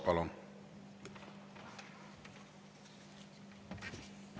Palun!